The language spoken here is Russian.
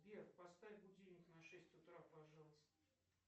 сбер поставь будильник на шесть утра пожалуйста